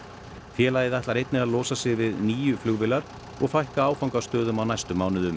félagið ætlar einnig að losa sig við níu flugvélar og fækka áfangastöðum á næstu mánuðum